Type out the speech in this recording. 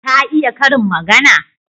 Ka iya karin magana?